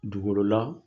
Dukɔrɔla